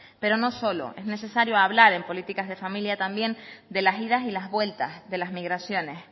pero no solo es necesario hablar en políticas de familia sino también de las idas y las vueltas de las migraciones